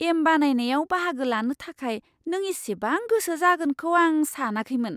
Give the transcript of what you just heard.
M बानायनायाव बाहागो लानो थाखाय नों इसिबां गोसो जागोनखौ आं सानाखैमोन!